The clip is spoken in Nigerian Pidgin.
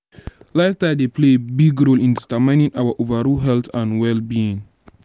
lifestyle dey play a big role in determining our overall health and well-being.